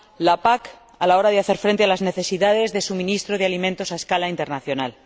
la PAC a la hora de hacer frente a las necesidades de suministro de alimentos a escala internacional.